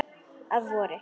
Að vori.